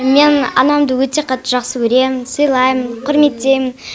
мен анамды өте қатты жақсы көремін сыйлаймын құрметтеймін